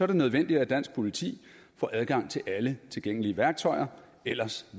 det nødvendigt at dansk politi får adgang til alle tilgængelige værktøjer ellers